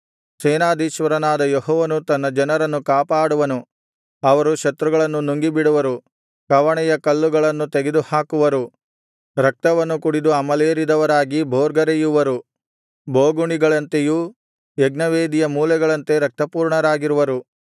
ಸೇನಾಧೀಶ್ವರನಾದ ಯೆಹೋವನು ತನ್ನ ಜನರನ್ನು ಕಾಪಾಡುವನು ಅವರು ಶತ್ರುಗಳನ್ನು ನುಂಗಿಬಿಡುವರು ಕವಣೆಯ ಕಲ್ಲುಗಳನ್ನು ತುಳಿದುಹಾಕುವರು ರಕ್ತವನ್ನು ಕುಡಿದು ಅಮಲೇರಿದವರಾಗಿ ಭೋರ್ಗರೆಯುವರು ಬೋಗುಣಿಗಳಂತೆಯೂ ಯಜ್ಞವೇದಿಯ ಮೂಲೆಗಳಂತೆ ರಕ್ತಪೂರ್ಣರಾಗಿರುವರು